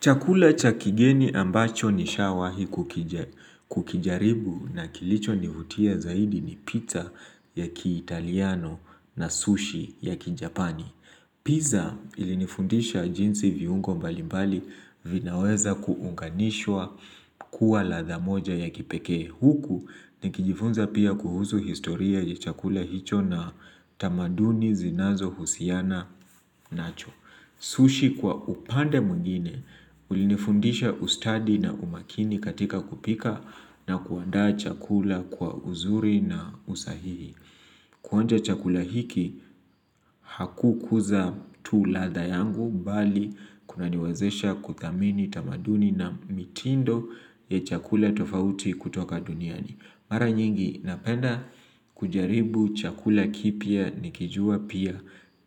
Chakula cha kigeni ambacho nishawahi kukijaribu na kilicho nivutia zaidi ni pizza ya kiitaliano na sushi ya kijapani. Pizza ili nifundisha jinsi viungo mbali mbali vinaweza kuunganishwa kuwa ladha moja ya kipeke huku nikijifunza pia kuhusu historia ya chakula hicho na tamaduni zinazo husiana nacho. Sushi kwa upande mwingine ulinifundisha ustadi na umakini katika kupika na kuandaa chakula kwa uzuri na usahihi. Kuonja chakula hiki haku kuza tu ladha yangu mbali kuna niwazesha kuthamini tamaduni na mitindo ya chakula tofauti kutoka duniani. Mara nyingi napenda kujaribu chakula kipya nikijua pia